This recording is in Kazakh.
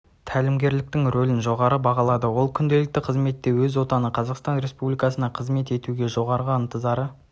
тәлімгерліктің ролін жоғары бағалады ол күнделікті қызметте өз отаны қазақстан республикасына қызмет етуге жоғары ынтызары